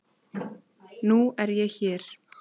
Nú er ég hér.